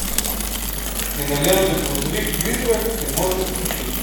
кинолента грузовик призрак ты можешь включить